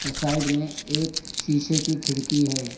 Side में एक शीशे की खिड़की है।